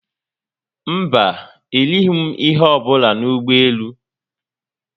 Mba, erịghi m ihe ọbụla n'ụgbọelu